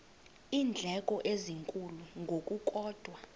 iindleko ezinkulu ngokukodwa